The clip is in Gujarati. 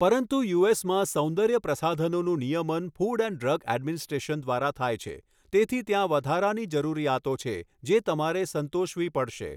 પરંતુ યુએસમાં, સૌંદર્ય પ્રસાધનોનું નિયમન ફૂડ એન્ડ ડ્રગ એડમિનિસ્ટ્રેશન દ્વારા થાય છે, તેથી ત્યાં વધારાની જરૂરિયાતો છે જે તમારે સંતોષવી પડશે.